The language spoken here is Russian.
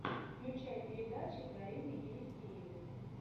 включай передачи дарины елисеевой